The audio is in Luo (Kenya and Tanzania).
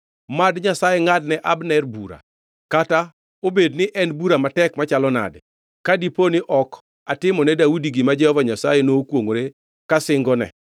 Mad Nyasaye ngʼadne Abner bura, kata obed ni en bura matek machalo nade, ka diponi ok atimone Daudi gima Jehova Nyasaye nokwongʼore ka singone,